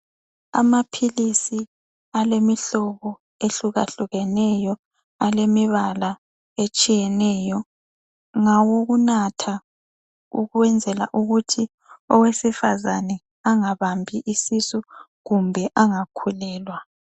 Amaphilisi alemihlobo ehlukahlukeneyo alemibala etshiyeneyo ,ngawokunatha ukwenzela ukuthi owesifazana engabambi isisu kumbe engakhulelwa